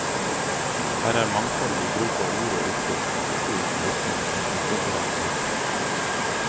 Her er mangfold i bruk av ord og uttrykk, ikke uten virkning på en uforbedt leser.